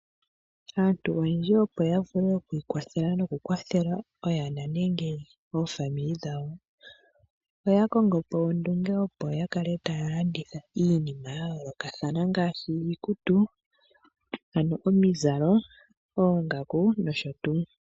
Aantu oyendji ya vule oku ikwathela nenge oku kwathela oyana nenge aakwanezimo yawo oya kongo po ondunge, opo ya kale taya landitha iinima ya yoolokothana ngaashi iikutu, oongaku nosho tuu.